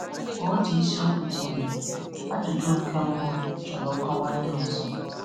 Ma otu isiokwu dị ìrè – ajụjụ nke mba – chọrọ nkọwa ndị ọzọ. ọzọ.